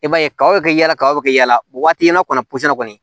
I b'a ye kaw bɛ kɛ yala kabaw bɛ kɛ yala waati in na kɔni kɔni